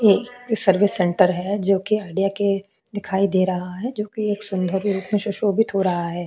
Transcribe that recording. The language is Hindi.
ये एक सर्विस सेंटर है जोकि आईडिया के दिखाई दे रहा है जोकि एक सुंदर रूप में सुशोभित हो रहा हैं।